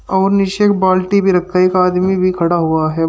और नीचे एक बाल्टी भी रखा है एक आदमी भी खड़ा हुआ है।